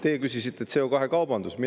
Teie küsisite CO2‑kaubanduse kohta.